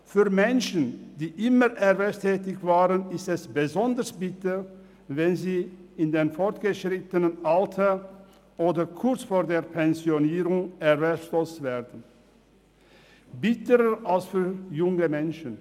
Für Menschen, die immer erwerbstätig waren, ist es besonders bitter, wenn sie in vorgeschrittenem Alter oder kurz vor der Pensionierung erwerbslos werden, bitterer als für junge Menschen.